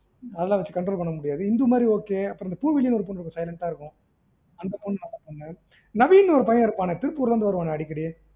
அதுலாம் வச்சி control பண்ண முடியாது அப்புறம் இந்துமதி அப்புறம் பூவிழி னு ஒரு பொண்ணு கொஞ்சம் silent ஆ இருக்கும் அந்த பொண்ணு நல்ல பொண்ணு நவீன் னு ஒரு பையன் இருப்பான்ல திருப்பூர் ல இருந்து வருவனே அடிக்கடி